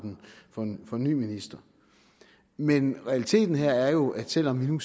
for en ny minister men realiteten her er jo at selv om vi nu